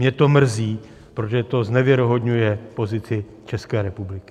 Mě to mrzí, protože to znevěrohodňuje pozici České republiky.